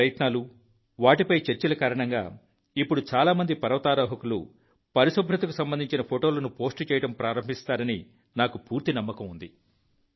మీ ప్రయత్నాలు వాటిపై చర్చల కారణంగా ఇప్పుడు చాలా మంది పర్వతారోహకులు పరిశుభ్రతకు సంబంధించిన ఫోటోలను పోస్టు చేయడం ప్రారంభించారని నాకు పూర్తి నమ్మకం ఉంది